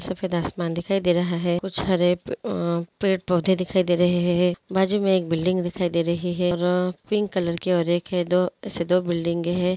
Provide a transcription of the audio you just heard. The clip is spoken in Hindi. सफ़ेद आसमान दिखाई दे रहा हैं कुछ हरे अ-अ पेड़ पौधे दिखाई दे रहे हैं बाजु मैं एक बिल्डिंग दिखाई दे रही हैं और पिंक कलर के हैं दो ऐसे दो बिल्डिंग हैं।